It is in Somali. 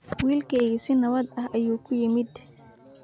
Wiilkaygii si nabad ah ayuu ku yimid